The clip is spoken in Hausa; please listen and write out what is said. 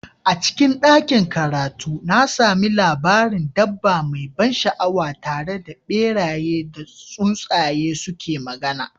A cikin ɗakin karatu, na sami labarin dabba mai ban sha'awa tare da beraye da tsuntsaye suke magana.